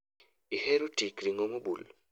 Ahero tik ring'o mobul